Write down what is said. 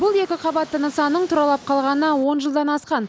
бұл екі қабатты нысанның тұралап қалғанына он жылдан асқан